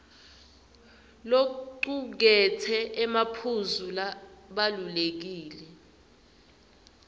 locuketse emaphuzu labalulekile